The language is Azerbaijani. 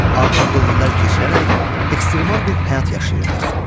Ağır dövrlər keçirərək, ekstremal bir həyat yaşayırdıq.